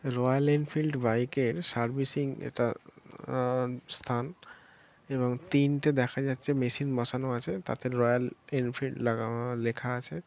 Royal Enfield বাইকের servicing এটা আ- আ- স্থান এবং তিনটে দেখা যাচ্ছে মেশিন বসানো আছে তাতে রয়েল-এনফিল্ড লাগানো লেখা আছে ।